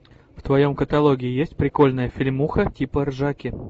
в твоем каталоге есть прикольная фильмуха типа ржаки